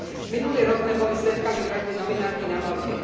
Minulý rok sme boli svedkami vraždy novinárky na Malte.